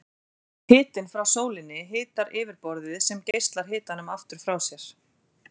Hitinn frá sólinni hitar yfirborðið sem geislar hitanum aftur frá sér.